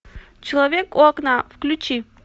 человек у окна включи